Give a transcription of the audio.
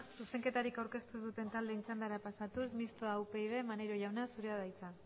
zuzenketarik aurkeztu duten taldeen txandara pasatuz mistoa upyd maneiro jauna zurea da hitza